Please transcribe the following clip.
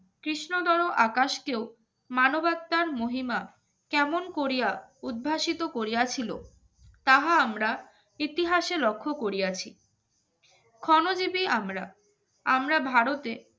কৃষ্ণদরো আকাশকেও মানবতার মহিমা কেমন করিয়া উদ্ভাসিত করিয়াছিল তাহা আমরা ইতিহাসে লক্ষ্য করিয়াছি ক্ষণজীবী আমরা আমরা ভারতে